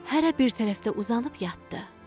Hərə bir tərəfdə uzanıb yatdı.